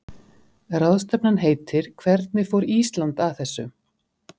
Ráðstefnan heitir Hvernig fór Ísland að þessu?